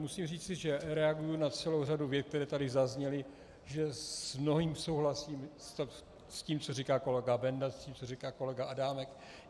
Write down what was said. Musím říci, že reaguji na celou řadu vět, které tady zazněly, že s mnohým souhlasím, s tím, co říká kolega Benda, s tím, co říká kolega Adámek.